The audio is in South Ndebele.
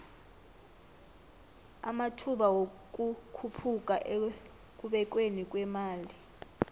amathba wikukhuphuka ekubekweni kwemali